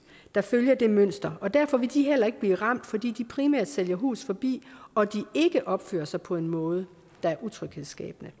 der følger det mønster og derfor vil de heller ikke blive ramt fordi de primært sælger hus forbi og de ikke opfører sig på en måde der er utryghedsskabende